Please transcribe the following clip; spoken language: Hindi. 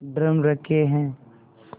ड्रम रखे हैं